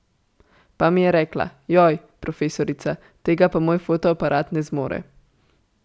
Pa mi je rekla, joj, profesorica, tega pa moj fotoaparat ne zmore.